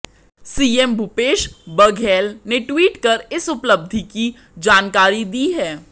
CM Bhupesh Baghel ने tweet कर इस उपलब्धि की जानकारी दी है